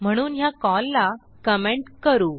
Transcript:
म्हणून ह्या कॉल ला कमेंट करू